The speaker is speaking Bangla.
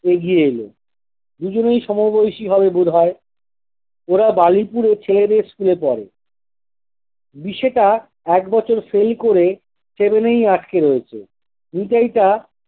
এগিয়ে এলো। দুজনেই সমবয়সী হবে বিধায় ওরা বালিপুরে ছেলেদের school এ পড়ে। দিশেটা আট বছর fail করে seven এই আটকে রয়েছে। নিতাইটা